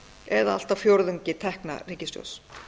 eða allt að fjórðungi tekna ríkissjóðs